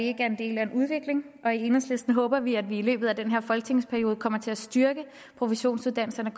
er en del af en udvikling i enhedslisten håber vi at vi i løbet af den her folketingsperiode kommer til at styrke professionsuddannelserne